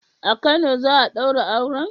A Kano za'a daura auren?